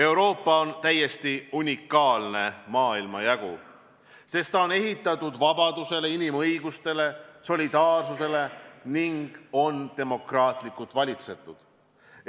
Euroopa on täiesti unikaalne maailmajagu, sest ta on ehitatud vabadusele, inimõigustele ja solidaarsusele ning on demokraatlikult valitsetud.